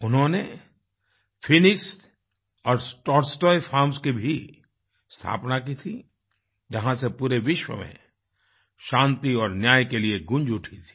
उन्होंने फीनिक्स और Tolstoy farms की भी स्थापना की थी जहाँ से पूरे विश्व में शान्ति और न्याय के लिए गूँज उठी थी